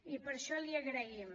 i per això l’hi agraïm